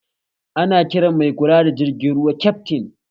Ana kiran mai kula da jirgin ruwa kyaftin